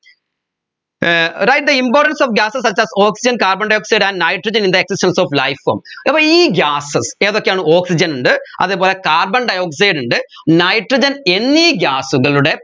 uh write the importance of gases such as oxygen carbondioxide and nitrogen in the existence of life form അപ്പോ ഈ gases ഏതൊക്കെയാണ് oxygen ഉണ്ട് അതെ പോലെ carbondioxide ഉണ്ട് nitrogen എന്നീ gas കളുടെ